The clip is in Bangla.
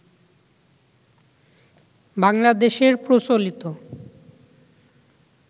বাংলাদেশের প্রচলিত